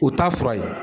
U t'a fura ye